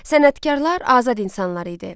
Sənətkarlar azad insanlar idi.